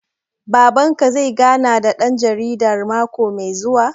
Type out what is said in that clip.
Baban ka zai gana da ɗan jaridar mako mai zuwa?